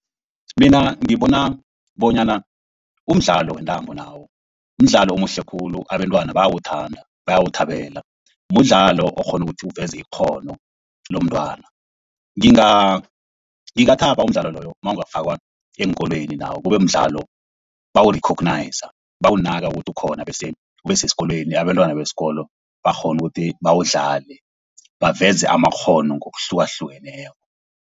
Mina ngibona bonyana umdlalo wentambo nawo mdlalo omuhle khulu abentwana bayawuthanda, bayawuthabela. Mudlalo okghona ukuthi uveza ikghono lomntwana. Ngingathaba umdlalo loyo nawungafakwa eenkolweni nawo kube mdlalo bawu-recogniser bawunaka ukuthi khona, bese ubesesikolweni abentwana besikolo bakghona ukuthi bawudlale. Baveze amakghono ngokuhlukahlukeneko.